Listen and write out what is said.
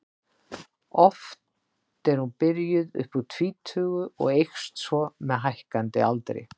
Oft er hún byrjuð upp úr tvítugu og eykst svo með hækkandi aldri.